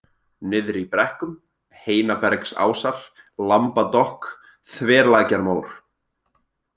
Niðri í brekkum, Heinabergsásar, Lambadokk, Þverlækjarmór